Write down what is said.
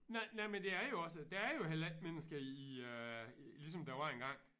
Nej nej men det er jo også der er jo heller ikke mennesker i i øh ligesom der var en gang